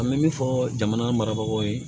An bɛ min fɔ jamana marabagaw ye